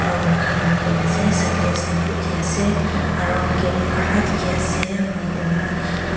flower khan rakhina ase side tae step uthi ase aro gate kala dikhiase--